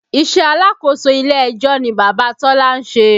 Iṣẹ́ alákòóso ilé ẹjọ́ ni Bàbá Tọ́lá ń ṣe